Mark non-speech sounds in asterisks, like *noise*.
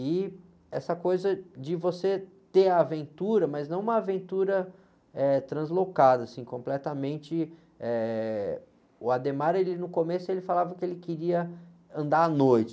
E essa coisa de você ter a aventura, mas não uma aventura translocada, assim, completamente, eh... O, *unintelligible* ele, no começo, ele falava que ele queria andar à noite.